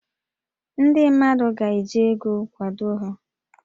Ndị mmadụ ga-eji ego kwado ha